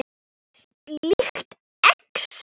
Sýkt exem